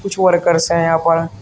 कुछ वर्कर्स हैं यहां पर।